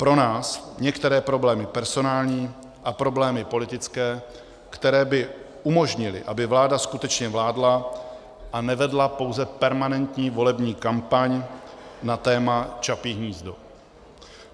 Pro nás některé problémy personální a problémy politické, které by umožnily, aby vláda skutečně vládla a nevedla pouze permanentní volební kampaň na téma Čapí hnízdo.